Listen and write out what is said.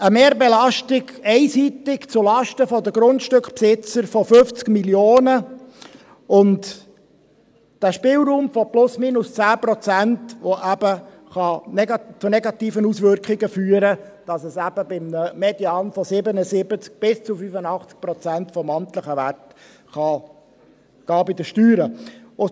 Eine Mehrbelastung einseitig zulasten der Grundstückbesitzer von 50 Mio. Franken und dieser Spielraum von plus minus 10 Prozent, der eben zu negativen Auswirkungen führen kann, nämlich, dass es eben bei einem Median von 77 bis zu 85 Prozent des amtlichen Werts bei den Steuern gehen kann.